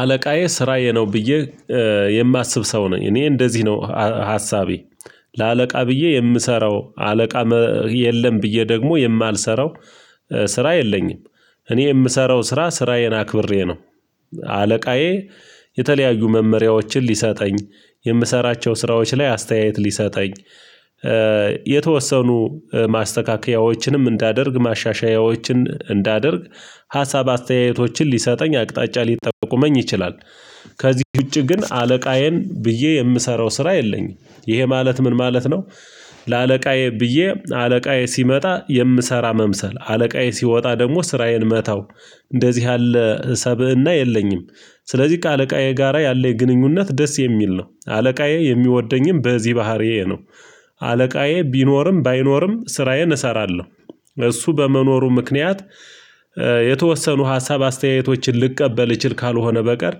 አለቃዬ ስራዬ ነው ብዬ የማስብ ሰው ነኝ። እኔ እንደዚህ ነው ሀሳቤ። ለአለቃ ብዬ የምሰራው አለቃ የለም ብዬ ደግሞ የማልሰራው ስራ የለኝም። እኔ የምሰራው ስራ ስራዬን አክብሬ ነ። አለቃዬ የተለያዩ መመሪያዎችን ሊሰጠኝ፣ የምሰራቸው ስራዎች ላይ አስተያየት ሊሰጠኝ፣ የተወሰኑ ማስተካከያዎችንም እንዳደርግ ማሻሻያዎችን እንዳደርግ ሀሳብ አስተያየቶችን ሊሰጠኝ አቅጣጫ ሊጠቁመኝ ይችላል። ከዚህ ውጪ ግን አለቃዬን ብዬ የምሰራው ስራ የለኝም። ይሄ ማለት ምን ማለት ነው። ለአለቃዬ ብዬ አለቃዬ ሲመጣ የምሰራ መምሰል አለቃዬ ሲወጣ ደግሞ ስራዬን መታው እንደዚህ ያለ ሰብእና የለኝም። ስለዚህ ከአለቃዬ ጋራ ያለ የግንኙነት ደስ የሚል ነው። አለቃዬ የሚወደኝም በዚህ ባህሪዬ ነው። አለቃዬ ቢኖርም ባይኖርም ስራዬን እሰራለሁ። እሱ በመኖሩ ምክንያት የተወሰኑ ሀሳብ አስተያየቶችን ልቀበል እችል ካልሆነ በቀር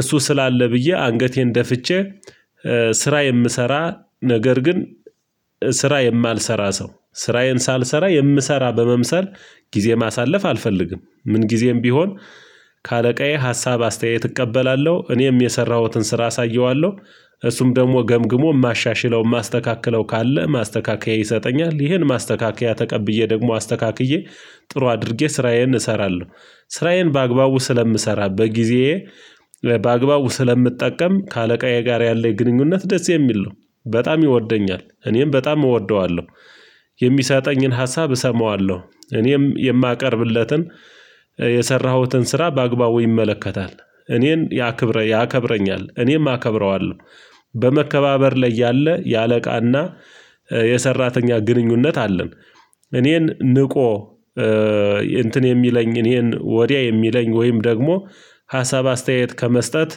እሱ ስላለ ብዬ አንገቴን ደፍቼ ስራ የምሰራ ነገር ግን ስራ የማልሰራ ሰው ስራዬን ሳልሰራ የምሰራ በመምሰል ጊዜ ማሳለፍ አልፈልግም ምን ጊዜም ቢሆን ከአለቃዬ ሀሳብ አስተያየት እቀበላለሁ። እኔም የሰራሁትን ስራ አሳየዋለሁ። እሱም ደግሞ ገምግሞ የማሻሽለው የማስተካክለው ካለ ማስተካከያ ይሰጠኛል። ይሄን ማስተካከያ ተቀብዬ ደግሞ አስተካክዬ ጥሩ አድርጌ ስራዬን እሰራለሁ። ስራዬን በአግባቡ ስለምሰራ በጊዜ በአግባቡ ስለምጠቀም ከአለቃዬ ጋር ያለው ግንኙነት ደስ የሚል ነው። በጣም ይወደኛል እኔም በጣም እወደዋለሁ። የሚሰጠኝን ሀሳብ እሰማዋለሁ እኔም የማቀርብለትን የሰራሁትን ስራ በአግባቡ ይመለከታል። እኔን ያክብረ ያከብረኛል፤ እኔም አከብረዋለሁ በመከባበር ላይ ያለ የአለቃና የሰራተኛ ግንኙነት አለን። እኔን ንቆ እንትን የሚለኝ እኔን ወዲያ የሚለኝ ወይም ደግሞ ሀሳብ አስተያየት ከመስጠት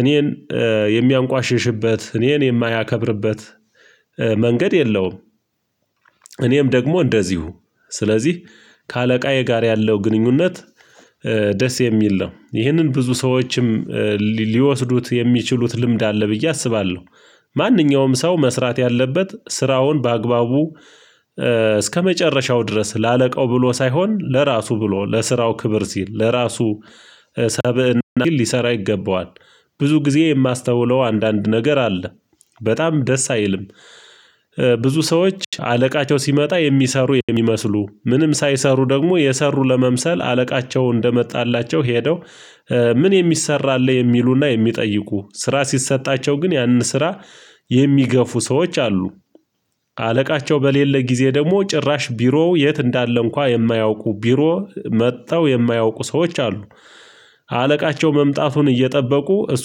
እኔን የሚያንቋሽሽበት እኔን የማያከብርበት መንገድ የለውም እኔም ደግሞ እንደዚሁ ስለዚህ ከአለቃዬ ጋር ያለው ግንኙነት ደስ የሚል ነው ይህንን ብዙ ሰዎችም ሊወስዱት የሚችሉት ልምድ አለ ብዬ አስባለሁ ማንኛውም ሰው መስራት ያለበት ስራውን በአግባቡ እስከመጨረሻው ድረስ ለአለቃው ብሎ ሳይሆን ለራሱ ብሎ ለስራው ክብር ሲል ለራሱ ሰብእና ሊሰራ ይገባዋል። ብዙ ጊዜ የማስተውለው አንዳንድ ነገር አለ በጣም ደስ አይልም። ብዙ ሰዎች አለቃቸው ሲመጣ የሚሰሩ የሚመስሉ፤ ምንም ሳይሰሩ ደግሞ የሰሩ ለመምሰል አለቃቸው እንደመጣላቸው ሄደው ምን የሚሰራ አለ። የሚሉና የሚጠይቁ ስራ ሲሰጣቸው ግን ያንን ስራ የሚገፉ ሰዎች አሉ። አለቃቸው በሌለ ጊዜ ደግሞ ጭራሽ ቢሮው የት እንዳለ እንኳን የማያውቁ ቢሮ መጣው የማያውቁ ሰዎች አሉ። አለቃቸው መምጣቱን እየጠበቁ እሱ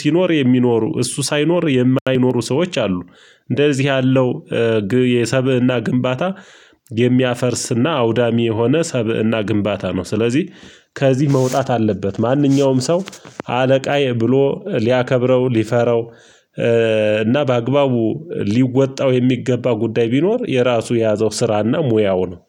ሲኖር የሚኖሩ እሱ ሳይኖር የማይኖሩ ሰዎች አሉ እንደዚህ ያለው የሰብእና ግንባታ የሚያፈርስና አውዳሚ የሆነ ሰብእና ግንባታ ነው። ስለዚህ ከዚህ መውጣት አለበት። ማንኛውም ሰው አለቃዬ ብሎ ሊያከብረው ሊፈረው እና በአግባቡ ሊወጣው የሚገባ ጉዳይ ቢኖር የራሱ የያዘው ስራና ሙያው ነው።